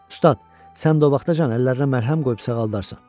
Ustad, sən də o vaxtacan əllərinə məlhəm qoyub sağaldarsan.